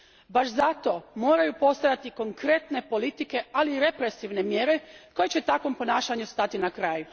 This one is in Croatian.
Baš zato moraju postojati konkretne politike, ali i represivne mjere koje će takvom ponašanju stati na kraj.